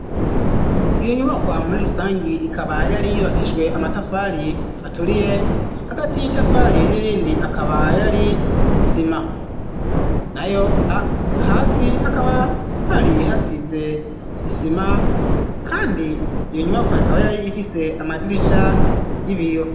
Iyo nyubakwa muri rusangi ikaba yoari yubakishiswe amatafali aturiye hagati y'itafali n'irindi akaba yoari isima na yo hasi hakaba hari hasize isima, kandi iyo nyumakwa ikaba yari ifise amadirisha y'ibiyo.